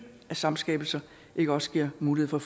af samskabelser ikke også giver mulighed for